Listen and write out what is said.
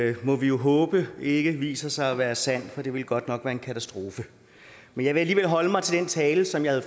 det må vi jo håbe ikke viser sig at være sandt for det ville godt nok være en katastrofe men jeg vil alligevel holde mig til den tale som jeg